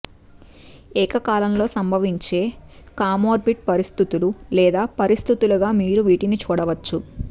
ఏకకాలంలో సంభవించే కామోర్బిడ్ పరిస్థితులు లేదా పరిస్థితులుగా మీరు వీటిని చూడవచ్చు